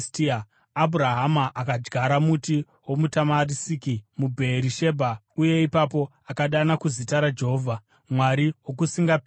Abhurahama akadyara muti womutamarisiki muBheerishebha, uye ipapo akadana kuzita raJehovha, Mwari Wokusingaperi.